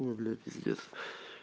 ой бля пиздец